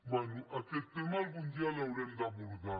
bé aquest tema algun dia l’haurem d’abordar